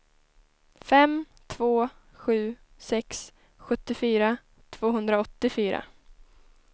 fem två sju sex sjuttiofyra tvåhundraåttiofyra